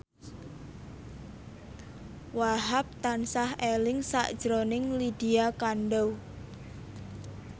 Wahhab tansah eling sakjroning Lydia Kandou